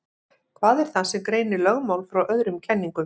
Hvað er það sem greinir lögmál frá öðrum kenningum?